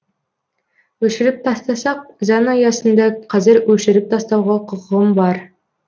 өшіріп тастасақ заң аясында қазір өшіріп тастауға құқығым бар